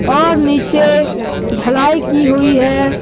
और नीचे ढलाई की हुई। है।